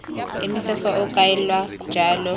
emise fa o kaelwa jalo